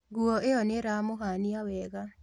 Nguo ĩyo nĩĩramũhania wega